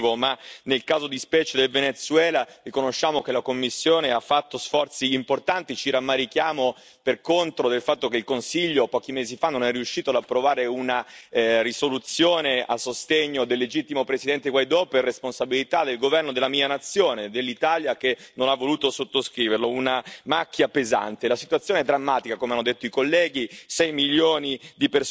Il nostro giudizio complessivamente per questi cinque anni è un giudizio negativo, ma nel caso di specie del Venezuela, riconosciamo che la Commissione ha fatto sforzi importanti. Ci rammarichiamo per contro del fatto che il Consiglio pochi mesi fa non è riuscito ad approvare una risoluzione a sostegno del legittimo presidente Guaidó per responsabilità del governo della mia nazione, dell'Italia, che non ha voluto sottoscriverlo, una macchia pesante.